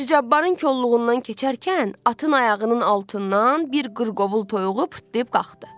Hacı Cabbarın kolluğundan keçərkən atın ayağının altından bir qırqovul toyuğu pırtdayıb qalxdı.